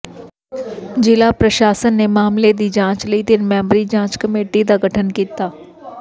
ਜ਼ਿਲ੍ਹਾ ਪ੍ਰਸ਼ਾਸਨ ਨੇ ਮਾਮਲੇ ਦੀ ਜਾਂਚ ਲਈ ਤਿੰਨ ਮੈਂਬਰੀ ਜਾਂਚ ਕਮੇਟੀ ਦਾ ਗਠਨ ਕੀਤਾ